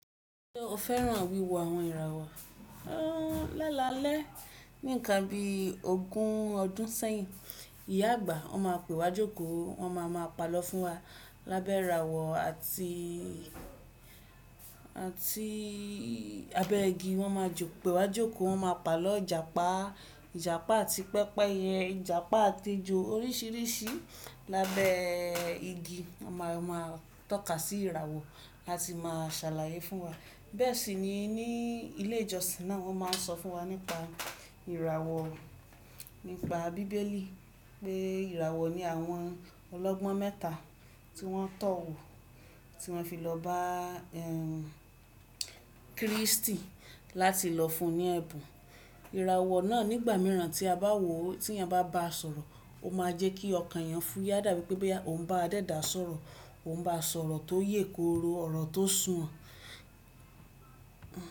Ṣé o fẹ́ràn wíwo àwọn ìràwọ̀? Lálalẹ́, ní ìkán bí ogún ọdún sẹ́yìn, ìyá àgbà ọ máa pè wá jókòó, wọn máa ma pàlọ́ fún wa lábẹ́ ìràwọ̀ àti, àti abẹ́ igi. Wọ́n máa pe wa jókòó, wọ́n máa pàlọ́ ìjàpá, ìjàpá àti pẹ́pẹ́yẹ, ìjàpá àti ẹjọ oríṣiríṣi lábẹ́ igi. A máa, a máa tọ́ka sí ìràwọ̀, a sì máa ṣàlàyé fún wa. Bẹ́ẹ̀ sì ni ní ilé ìjọsìn náà wọ́n máa ń sọ fún wa nípa ìràwọ̀, nípa bíbélì pé ìràwọ̀ ní àwọn ọlọ́gbọ́n mẹ́ta tí wọ́n tọ̀ wọ, tí wọ́n fi lọ bá, Kíristì láti lọ fún un ní ẹ̀bùn. Ìràwọ̀ náà nígbà mìíràn tí a bá wò ó, tí ẹniyàn bá ba sọ̀rọ̀, ó máa jẹ́ kí ọkàn ẹyàn fúyá dàbí pé ó ń bá àdẹ́dà sọ̀rọ̀, ó ń bá sọ̀rọ̀ tó yè kooro ọ̀rọ̀ tó sù wọ́n.